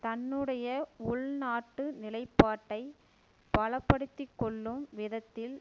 தன்னுடைய உள்நாட்டு நிலைப்பாட்டை பலப்படுத்திக்கொள்ளும் விதத்தில்